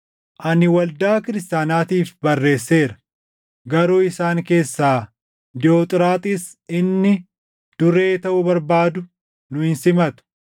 Ani waldaa kiristaanaatiif barreesseera; garuu isaan keessaa Diiyoxiraaxiis inni duree taʼuu barbaadu nu hin simatu.